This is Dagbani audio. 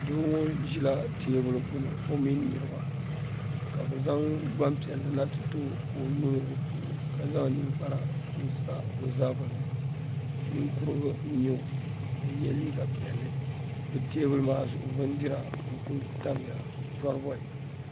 doo ŋɔ ʒila teebuli gbuni o mini niriba ka bɛ zaŋ gbampiɛlli na n-ti ti o ka o -yuuni di puuni ka zaŋ ninkpara n-sa o zabiri ni ninkurigu n-nyɛ o ka o ye liiga piɛlli bɛ teebuli maa zuɣu bindira n-kuli tamya chɔribɔi